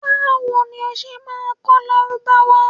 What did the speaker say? Báwo ni o ṣé máa kọ́ Lárúbáwá?